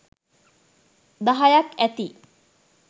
දහයක් ඇති.